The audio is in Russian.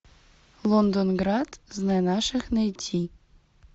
лондонград знай наших найти